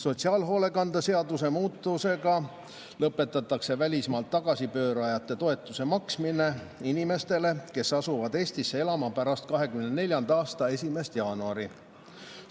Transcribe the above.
Sotsiaalhoolekande seaduse muutmisega lõpetatakse välismaalt tagasipöördujate toetuse maksmine inimestele, kes asuvad Eestisse elama pärast 2024. aasta 1. jaanuari.